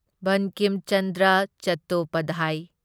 Bankim Chandra Chattopadhyay